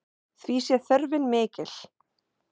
Því sé þörfin mikil.